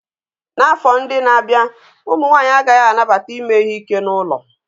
N'afọ ndị na-abịa, ụmụ nwanyị agaghị anabata ime ihe ike n'ụlọ